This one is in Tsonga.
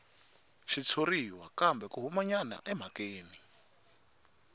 xitshuriwa kambe a humanyana emhakeni